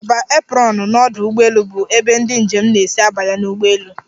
Ngalaba aprọnụ n'ọdụ ụgbọelu bụ ebe ndị njem na-esi abanye n'ụgbọelu.